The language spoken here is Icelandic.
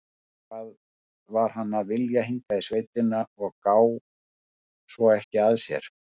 Hvað var hann að vilja hingað í sveitina og gá svo ekki að sér?